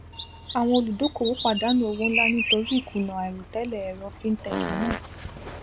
àwọn olùdókòwò pàdánù owó nlá nítorí ìkùnà àìròtélè èrò fintech náà